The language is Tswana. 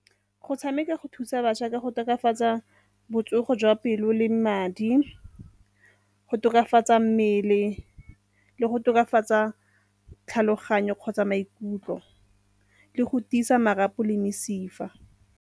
Go tshameka go thusa bašwa ka go tokafatsa botsogo jwa pelo le madi, go tokafatsa mmele le go tokafatsa tlhaloganyo kgotsa maikutlo le go tiisa marapo le mesifa.